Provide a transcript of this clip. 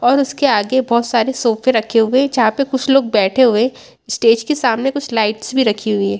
और उसके आगे बहुत सारे सोफे रखे हुए हैं जहां पर कुछ लोग बैठे हुए हैं स्टेज के सामने कुछ लाइट्स भी रखी हुई है।